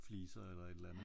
Fliser eller et eller andet ik?